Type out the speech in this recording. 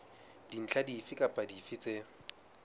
dintlha dife kapa dife tse